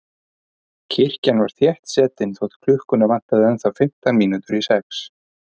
Kirkjan var þéttsetin þótt klukkuna vantaði ennþá fimmtán mínútur í sex.